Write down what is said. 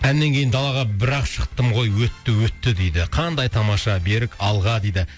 әннен кейін далаға бірақ шықтым ғой өтті өтті дейді қандай тамаша берік алға дейді